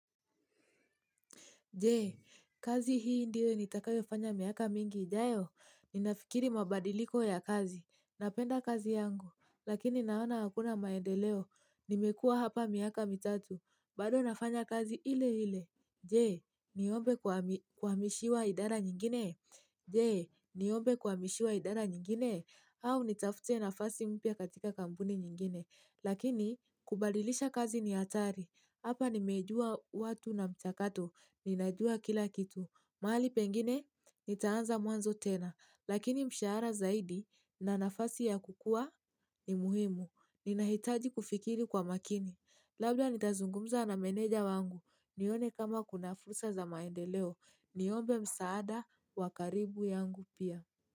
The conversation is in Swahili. Je, kazi hii ndio nitakayo fanya miaka mingi ijayo. Ninafikiri mabadiliko ya kazi. Napenda kazi yangu. Lakini naona hakuna maendeleo. Nimekua hapa miaka mitatu. Bado nafanya kazi ile hile. Je, niombe kuami kuhamishiwa idara nyingine? Jee, niombe kua mishiwa idara nyingine? Au nitafute nafasi mpya katika kampuni nyingine? Lakini, kubalilisha kazi ni hatari. Hapa nimejua watu na mchakato. Ninajua kila kitu. Mahali pengine, nitaanza mwanzo tena. Lakini mshahara zaidi, na nafasi ya kukua, ni muhimu. Ninahitaji kufikiri kwa makini. Labda nitazungumza na meneja wangu. Nione kama kunafursa za maendeleo, niombe msaada wakaribu yangu pia.